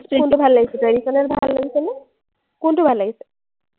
কোনটো ভাল লাগিছে, traditional ভাল লাগিছেনে? কোনটো ভাল লাগিছে?